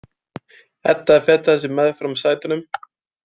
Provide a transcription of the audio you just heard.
Edda fetaði sig meðfram sætunum.